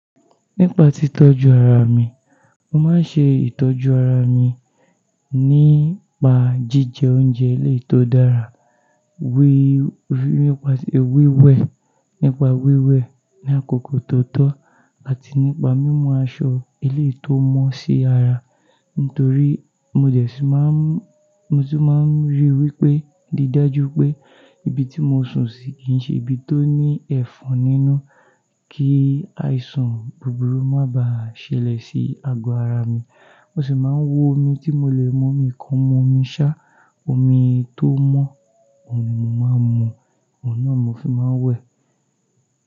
Nípa tí tọ́jú ara mi, mo máa ń ṣe ìtọ́jú ara mi nípa jíjẹ oúnjẹ ilé tó dára, wí- wípa wíwẹ̀, nípa wíwẹ̀ ní àkókò tó tọ́ àti nípa mímu aṣọ eléyìí tó mọ́ sí ara. Nítorí mo jẹ̀sí má ń-- mo sì máa ń rí i wí pé, rí i dájú pé ibi tí mo sùn sí kì í ṣe ibi tó ní ẹ̀fọn nínú kí àìsàn búburú má ba ṣẹlẹ̀ sí àgọ́ ara mi. Mo sì máa ń wo omi tí mo lè mu mi kán, mo máa ń mú omi ṣá, omi tó mọ́, òhun ni mo máa ń mu, òhun náà mo sì máa ń wẹ̀.